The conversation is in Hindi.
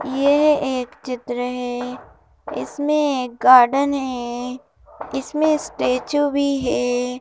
यह एक चित्र है इसमें एक गार्डन है इसमें स्टेचू भी है।